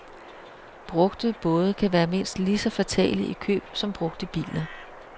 Brugte både kan være mindst lige så fatale i køb som brugte biler.